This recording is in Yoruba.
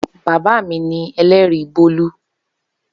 Baba mi ni ẹlẹri Bolu.